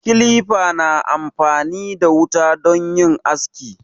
Kilifa na amfani da wuta don yin aski.